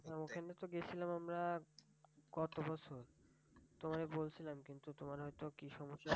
ওখানে তো গেছিলাম আমরা গত বছর তোমায় বলছিলাম কিন্তু তোমার হয়ত কি সমস্যা